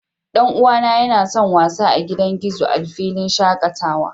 Dan uwana yana son wasa a gidan gizo a filin shakatawa